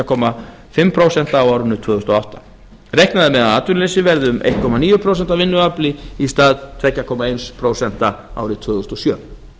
og hálft prósent á árinu tvö þúsund og átta reiknað er með að atvinnuleysi verði um einn komma níu prósent af vinnuafli í stað tvö komma eitt prósent árið tvö þúsund og sjö